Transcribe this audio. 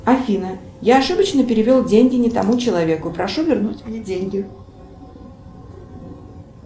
афина я ошибочно перевел деньги не тому человеку прошу вернуть мне деньги